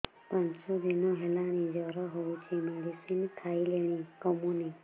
ପାଞ୍ଚ ଦିନ ହେଲାଣି ଜର ହଉଚି ମେଡିସିନ ଖାଇଲିଣି କମୁନି